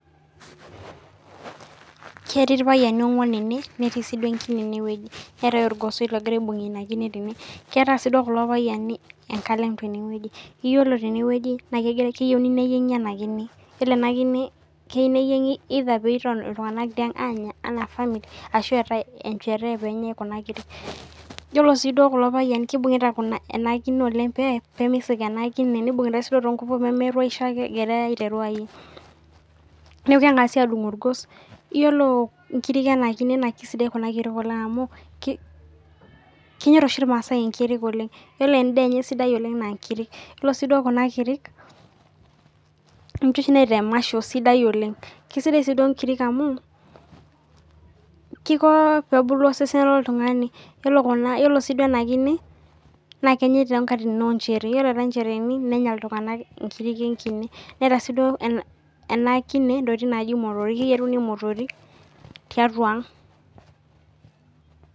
Ketii irpayiani ong'uan enewueji netii enkine netii egosoi nagira aibungie ena kine ketaa sii doi kulo payiani enkalem tenewueji ore tenewueji naa keyieuni neyiengi ena kine ore ena kine keyieuni neyiengi either pee etoni iltung'ana tiang Anya enaa family ashu etae enjerehe oyiolo kulo payiani naa kibung'ita ena kine oleng pee menut ake ena kine nibungita sii too nguvu pee meruesh ake enkine egirai aiteru ayieg neeku kengasi adung orgos ore enkiri ena kine naa kisidai oleng amu kenyor oshi irmaasai enkiri oleng ore endaa enye sidai oleng naa enkiri ore sii nkiri ninje oshi naita emasho sidai oleng kisidai sii nkirik amu Kiko pee ebulu osesen loo oltung'ani ore sii ena kine naa kenyai too nkatitin oo njereheni yiolo etae njereheni nenya iltung'ana enkiri enkine netaa ena kine motrik keyieruni motorik tiatua ang